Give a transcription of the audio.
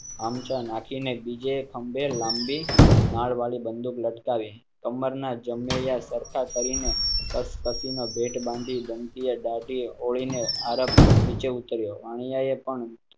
આમચા નાખીને બીજે ખંભે લાંબી નાળ વાળી બંદૂક લટકાવી કમ્મર ના જમૈયા સરખા કરી ને કસી ને ભેટ બાંધી ધમકી દાઢી ઓળી ને આરબ નીચે ઉતર્યો વાણિયાએ પણ